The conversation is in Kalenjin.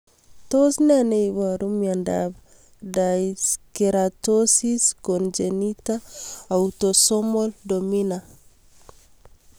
Tos ne neiparu miondop Dyskeratosis congenita autosomal dominant?